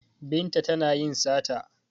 Binta tana yin sata